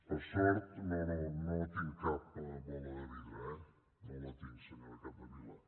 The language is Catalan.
per sort no no tinc cap bola de vidre eh no la tinc senyora capdevila